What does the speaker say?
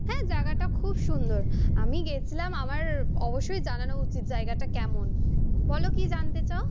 হ্যা, জায়গাটা খুব সুন্দর। আমি গেছিলাম আমার অবশ্যই জানানো উচিৎ জায়গাটা কেমন বলো কি জানতে চাও?